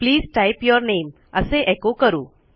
please type your name असे एचो करू